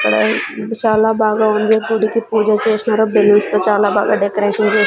అక్కడ చాలా బాగా ఉంది గుడికి పూజ చేస్నారు బెల్లూన్స్ తో చాలా బాగా డెకరేషన్ చే--